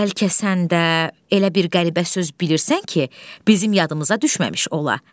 Bəlkə sən də elə bir qəribə söz bilirsən ki, bizim yadımıza düşməmiş ola.